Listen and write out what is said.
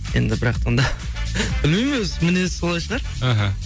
енді бірақтанда білмеймін өзі мінезі солай шығар іхі